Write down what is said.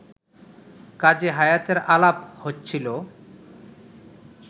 কাজী হায়াতের আলাপ হচ্ছিল